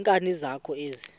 nkani zakho ezi